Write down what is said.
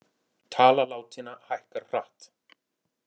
Tala látinna hækkar hratt